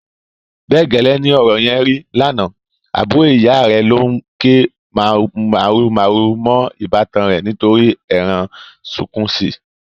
Bẹ́ẹ̀ gẹ́lẹ́ ni ọ̀rọ̀ yẹn rí lánàá, àbúrò ìyá rẹ̀ ló ń ké màhurumàhuru mọ́ ìbátan rẹ̀ nítorí ẹran sunkúnsí.